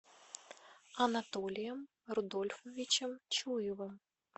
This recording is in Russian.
анатолием рудольфовичем чуевым